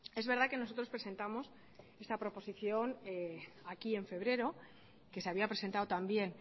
es verdad que nosotros presentamos esta proposición aquí en febrero que se había presentado también